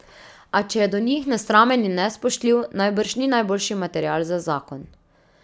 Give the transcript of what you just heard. A če je do njih nesramen in nespoštljiv, najbrž ni najboljši material za zakon.